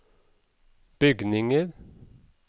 bygninger